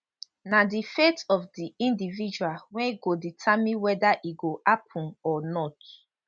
na di faith of di individual wey go determine weda e go happun or not